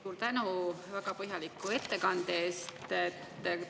Suur tänu väga põhjaliku ettekande eest!